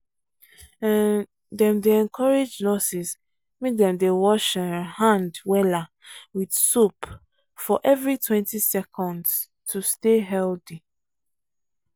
um dem dey encourage nurses make dem wash um hand wella with soap for everitwentyseconds to stay healthy. um